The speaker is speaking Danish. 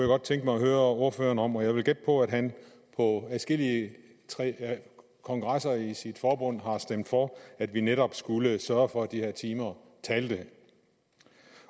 godt tænke mig at høre ordføreren om jeg vil gætte på at han på adskillige kongresser i sit forbund har stemt for at vi netop skulle sørge for at de her timer talte